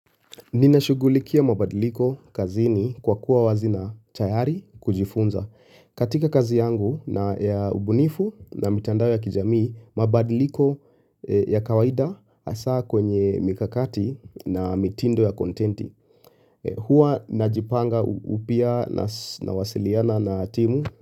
Ninashugulikia mabadiliko kazini kwa kuwa wazi na tayari kujifunza. Katika kazi yangu na ya ubunifu na mitandao ya kijamii, mabadiliko ya kawaida hasaa kwenye mikakati na mitindo ya kontenti. Huwa najipanga upya nawasiliana na timu.